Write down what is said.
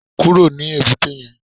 Kúrò ní èbúté yẹn